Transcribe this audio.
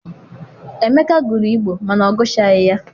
Emeka gụrụ Igbo mana ọ gụchaghi ya.